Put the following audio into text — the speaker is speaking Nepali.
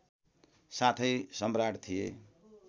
साथै सम्राट थिए